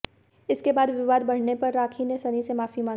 इसके बाद विवाद बढ़ने पर राखी ने सनी से माफी मांगी